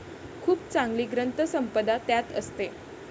खूप चांगली ग्रंथसंपदा त्यात असते.